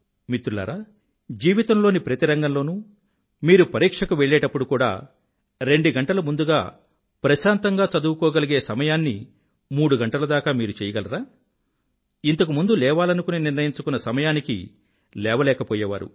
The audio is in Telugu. మిత్రులారా జీవితం లోని ప్రతి రంగంలోనూ మీరు పరీక్షకు వెళ్ళేప్పుడు కూడా రెండు గంటలు ముందుగా ప్రశాంతంగా చదువుకోగలిగే సమయాన్ని మూడు గంటలు దాకా మీరు చెయ్యగలరా ఇంతకు ముందు లేవాలనుకుని నిర్ణయించుకున్న సమయానికి లేవలేకపోయేవారు